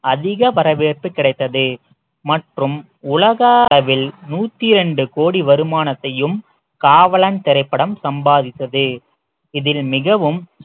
அதிக வரவேற்பு கிடைத்தது மற்றும் உலக அளவில் நூத்தி ரெண்டு கோடி வருமானத்தையும் காவலன் திரைப்படம் சம்பாதித்தது இதில் மிகவும்